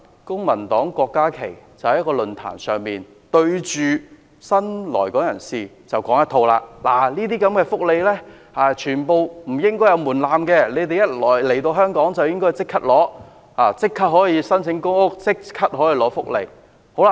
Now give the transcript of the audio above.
郭議員在一個論壇上，對着新來港人士說不應該就這些福利設置門檻，他們來港後，應該可以立刻申請公屋和福利。